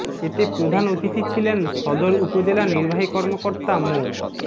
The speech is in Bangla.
এতে প্রধান অতিথি ছিলেন সদর উপজেলা নির্বাহী কর্মকর্তা মো